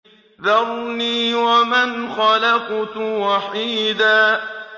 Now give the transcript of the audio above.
ذَرْنِي وَمَنْ خَلَقْتُ وَحِيدًا